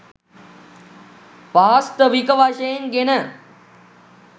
වාස්තවික වශයෙන් ගෙන